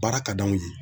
Baara ka d'anw ye